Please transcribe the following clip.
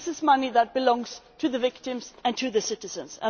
and this is money that belongs to the victims and to the citizens.